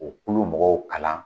O kulo mɔgɔw kalan